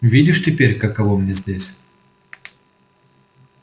видишь теперь каково мне здесь